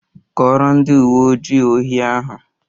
Kọọrọ ndị uwe ojii ohi ahụ!